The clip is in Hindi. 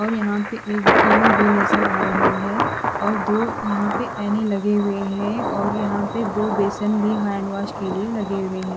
और यहाँ पे एक टि_वी भी नज़र आ रही है और दो यहाँ पे एने लगे हुए है और यहाँ पे दो बेसन भी हेन्डवोस के लिए लगे हुए है।